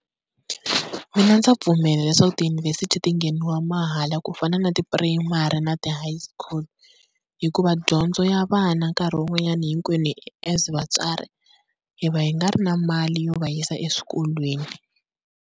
Mina ndza pfumela leswaku tiyunivhesiti ti ngheniwa mahala ku fana na tipurayimari na ti-high school. Hikuva dyondzo ya vana nkarhi wun'wanyana hinkwenu as vatswari hi va hi nga ri na mali yo va yisa eswikolweni.